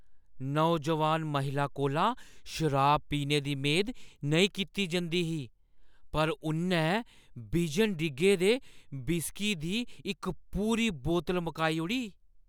नौजोआन महिला कोला शराब पीने दी मेद नेईं कीती जंदी ही, पर उʼन्नै बिजन डिग्गे दे व्हिस्की दी इक पूरी बोतल मकाई ओड़ी।